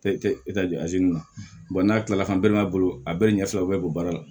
na n'a kilala bolo a bɛɛ ɲɛ fila bɛɛ b'o baara la